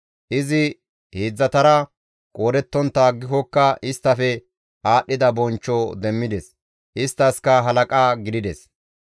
Izi heedzdzatara qoodettontta aggikokka isttafe aadhdhida bonchcho demmides; isttaskka halaqa gidides.